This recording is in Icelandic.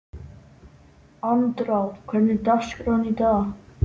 Andrá, hvernig er dagskráin í dag?